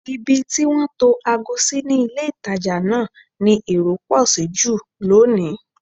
Ibi tí wọ́n tó ago sí ní ilé-ìtàjà náà ni èrò pọ̀ sí jù lónìí